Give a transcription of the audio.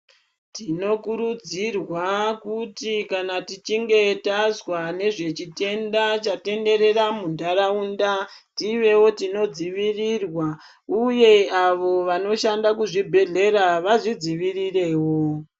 Tinokurudzirwa kuti kana tichinge tazwa nezvichitenda chatenderera mundaraunda tivewo tinodzivirirwa uyevo avo vanoshanda kuzvibhehlera vazvidzivirirewo.